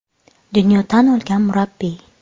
Dunyo tan olgan murabbiy.